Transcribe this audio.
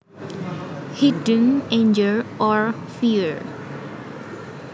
Hidden anger or fear